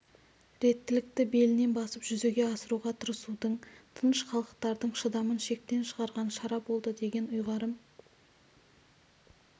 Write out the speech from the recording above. реттілікті белінен басып жүзеге асыруға тырысудың тыныш халықтардың шыдамын шектен шығарған шара болды деген ұйғарым